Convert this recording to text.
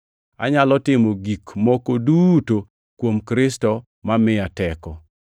Anyalo timo gik moko duto kuom Kristo mamiya teko.